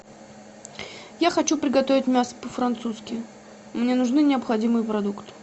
я хочу приготовить мясо по французски мне нужны необходимые продукты